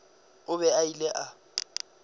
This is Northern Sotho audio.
o be a bile a